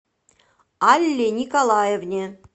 алле николаевне